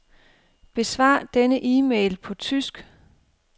Besvar denne e-mail på tysk.